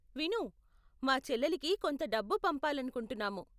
విను, మా చెల్లెలికి కొంత డబ్బు పంపాలనుకుంటున్నాము.